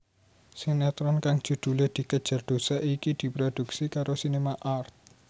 Sinetron kang judhulé Dikejar Dosa iki diprodhuksi karo SinemArt